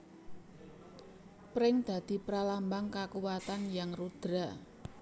Pring dadi pramlambang kakuwatan Hyang Rudra